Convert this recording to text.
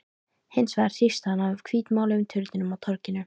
Hins vegar hrífst hann af hvítmáluðum turninum á torginu.